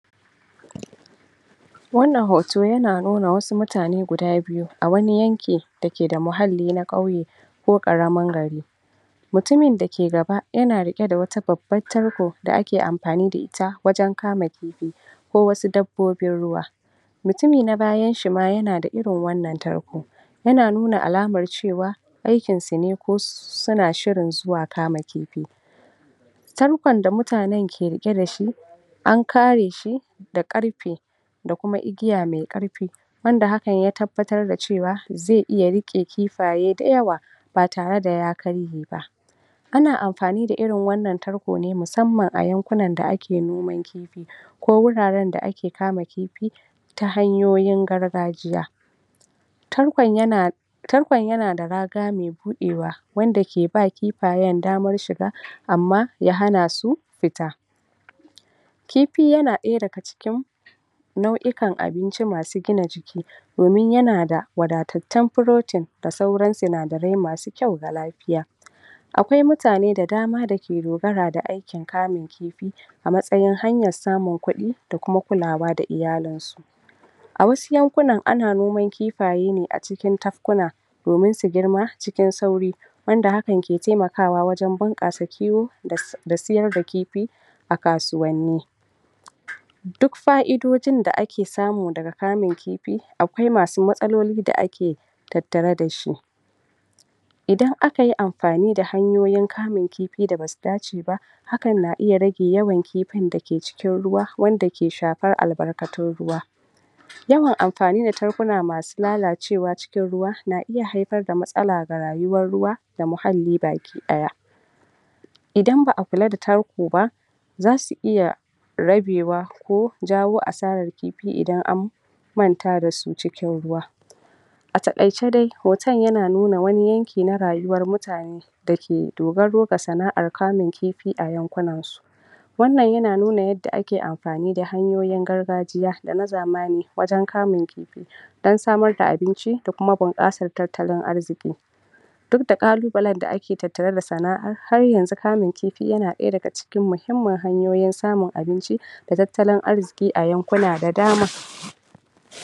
Wannan hoto yana nuna wasu mutane guda biyu a wani yanki da ke da muhalli na ƙauye ko ƙaramin gari mutumin da ke gaba, yana riƙe da wata babbar tarko da ake ampani da ita wajen kama kipi ko wasu dabbobin ruwa mutumi na bayan shi ma yana da irin wannan tarko yana nuna alamar cewa aikin su ne ko suna shirin zuwa kama kipi tarkon da mutanen ke riƙe da shi an kare shi da ƙarpe da kuma igiya mai ƙarpi, wanda hakan ya tabbatar da cewa zai iya riƙe kifaye da yawa ba tare da ya karye ba ana amfani da irin wannan tarko ne musamman a yunkunnan da ake noman kipi ko wuraren da ake kama kipi ta hanyoyin gargajiya tarkon yana tarkon yana da raga mai buɗewa wanda ke ba kipayen damar shiga amma ya hana su fita kipi yana ɗaya daga cikin nau'ikan abinci masu gina jiki domin yana da wadaddatun protein da sauran sinadirai masu kyau na lafiya akwai mutane da dama da ke dogara ga aikin kamin kipi, a matsayin hanyan samin kuɗi da kuma kulawa da iyalin su a wasu yankunnan a na noman kipaye ne a cikin tafkuna domin su girma cikin sauri wanda hakan ke taimakawa wajen bunƙasa kiwo da sayar da kipi a kasuwanni duk fa'idojin da ake samu daga kamin kipi, akwai masu matsaloli da ake tattare da shi idan aka yi amfani da hanyoyin kamin kipin da basu dace ba hakan na iya rage yawan kipin da ke cikin ruwa, wanda ke shapar albarkacin ruwa yawan ampani da tarkuna masu lalacewa cikin ruwa na iya haipar da matsala ga rayuwar ruwa da muhalli baki ɗaya idan ba'a kula da tarko ba zasu iya rabewa ko jawo asarar kipi idan an manta da su cikin ruwa a taƙaice dai, hoton yana nuna wani yanki na rayuwar mutane da ke dogaro ga sana'ar kamin kipi a yankunnan su wannan yana nuna yadda ake ampani da hanyoyi gargajiya da na zamani wajen kamun kipi don samar da abinci da kuma bunƙansar tattalin arziki duk da ƙalubalan da ake tattare da sana'a, har yanzu kamin kipi yana ɗaya daga cikin muhimman hanyoyin samun abinci da tattalin arziki a yankunna da dama.